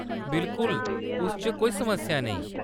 बिल्कुल ! उस च कोई समस्या नेईं।